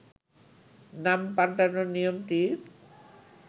নাম পাল্টানোর নিয়মটি